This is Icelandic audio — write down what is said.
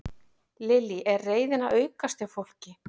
Lillý: Er reiðin að aukast hjá fólki?